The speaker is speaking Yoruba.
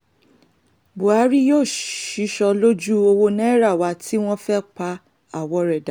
buhari yóò ṣìsọ lójú ọwọ́ náírà wa tí wọ́n fẹ́ẹ́ pa àwọn rẹ́ dà